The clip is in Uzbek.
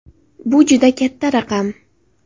Bu juda katta raqam!